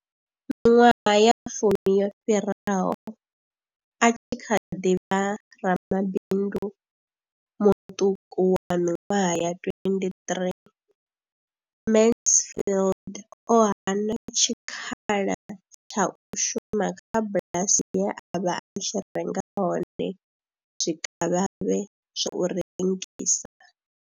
Miṅwaha ya fumi yo fhiraho, a tshi kha ḓi vha ramabindu muṱuku wa miṅwaha ya 23, Mansfield o hana tshikhala tsha u shuma kha bulasi ye a vha a tshi renga hone zwikavhavhe zwa u rengisa.